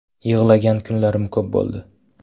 Yig‘lagan kunlarim ko‘p bo‘ldi.